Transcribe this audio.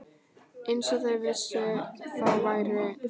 Eins og þau vissu, þá væri